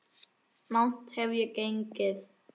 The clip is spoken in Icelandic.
Langt hef ég gengið.